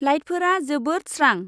लाइटफोरा जोबोद स्रां।